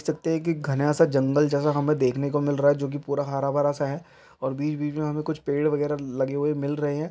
सकते हैं के घना-सा जंगल जैसा हमें देखने को मिल रहा है जो की पूरा हरा भरा-सा है। और बीच-बीच में हमें कुछ पेड़ वगेरा लगे हुए मिल रहे हैं।